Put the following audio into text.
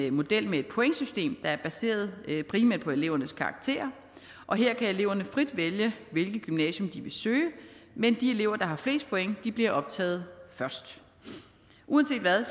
en model med et pointsystem der er baseret primært på elevernes karakterer og her kan eleverne frit vælge hvilket gymnasium de vil søge men de elever der har flest point bliver optaget først uanset hvad